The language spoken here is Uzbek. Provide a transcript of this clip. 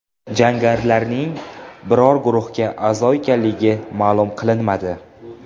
Jangarilarning biror guruhga a’zo ekanligi ma’lum qilinmadi.